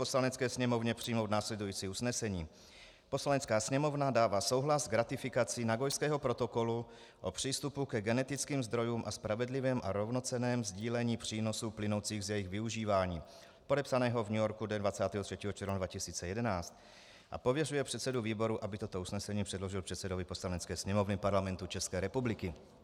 Poslanecké sněmovně přijmout následující usnesení: Poslanecká sněmovna dává souhlas k ratifikaci Nagojského protokolu o přístupu ke genetickým zdrojům a spravedlivém a rovnocenném sdílení přínosů plynoucích z jejich využívání, podepsaného v New Yorku dne 23. června 2011, a pověřuje předsedu výboru, aby toto usnesení předložil předsedovi Poslanecké sněmovny Parlamentu České republiky.